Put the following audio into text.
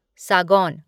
सागौन